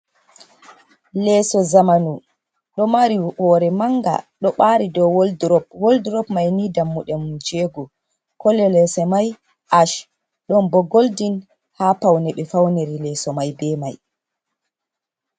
Leeso zamanu, ɗo mari hoore mannga, ɗo ɓaari dow woldurop .Woldurop may ni dammuɗe mum jeego kolo leeso may aac .Ɗon bo goldin haa pawne ɓe fawniri leeso may be may.